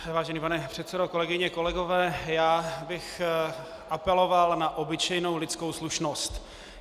Vážený pane předsedo, kolegyně, kolegové, já bych apeloval na obyčejnou lidskou slušnost.